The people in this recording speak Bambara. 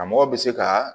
Karamɔgɔ bɛ se ka